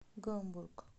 гамбург